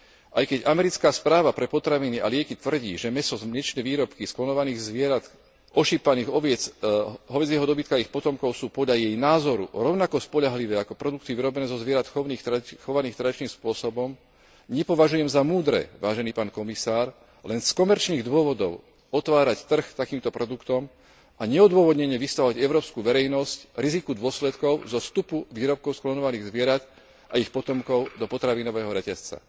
Aj keď americká Správa pre potraviny a lieky tvrdí, že mäso a mliečne výrobky z klonovaných zvierat, ošípaných, oviec, hovädzieho dobytka a ich potomkov sú podľa jej názoru rovnako spoľahlivé ako produkty vyrobené zo zvierat chovaných terajším spôsobom, nepovažujem za múdre, vážený pán Komisár, len z komerčných dôvodov otvárať trh takýmto produktom a neodôvodnene vystavovať európsku verejnosť riziku dôsledkov zo vstupu výrobkov z klonovaných zvierat a ich potomkov do potravinového reťazca.